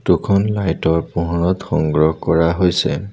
Photo খন light ৰ পোহৰত সংগ্ৰহ কৰা হৈছে।